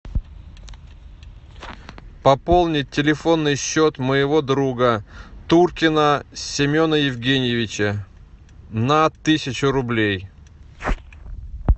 пополнить телефонный счет моего друга туркина семена евгеньевича на тысячу рублей